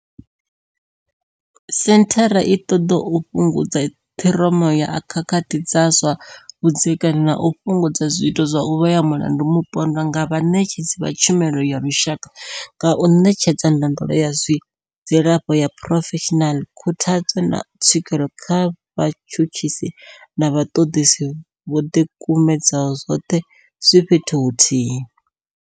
Senthara i ṱoḓa u fhungudza ṱhiroma ya khakhathi dza zwa vhudzekani na u fhungudza zwiito zwa u vhea mulandu mupondwa nga vhaṋetshedzi vha tshumelo ya lushaka nga u ṋetshedza ndondolo ya zwa dzilafho ya phurofeshinala, khuthadzo, na tswikelo kha vhatshutshisi na vhaṱoḓisi vho ḓikumedzaho, zwoṱhe zwi fhethu huthihi.